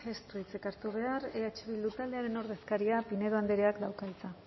ez du hitzik hartu behar eh bildu taldearen ordezkariak pinedo andreak dauka hitza